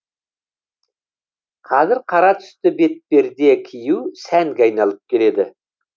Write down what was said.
қазір қара түсті бетперде кию сәнге айналып келеді